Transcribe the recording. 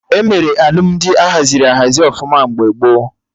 Emere Alụmdi ahaziri ahazi ọfụma mgbe gboo